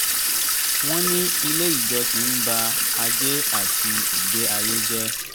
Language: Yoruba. wọ́n ní ilé ìjọsìn ń bà ajé àti ìgbé ayé jẹ